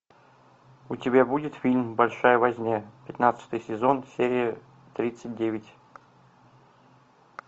у тебя будет фильм большая возня пятнадцатый сезон серия тридцать девять